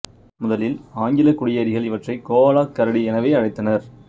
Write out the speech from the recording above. முதலில் ஆங்கிலக் குடியேறிகள் இவற்றைக் கோவாலாக் கரடி எனவே அழைத்தனர்